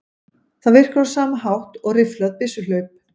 Það virkar á sama hátt og rifflað byssuhlaup.